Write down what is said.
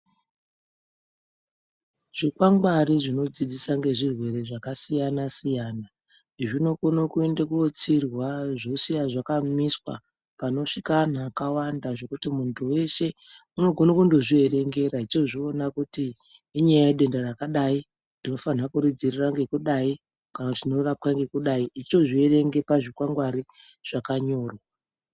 Zvikwangwari zvinodzidzisa ngezvirwere zvakasiyana-siyana zvinokone kuende kunotsirwa zvosiya zvakamiswa panosvika antu akawanda zvekuti muntu weshe unogone kundozvierengera echiozviona kuti inyaya yedenda rakadai. Ndofanha kuridziirira ngekudai kana kuti rinorapwa ngekudai, echitozvierenge pazvikwangwari zvakanyorwa.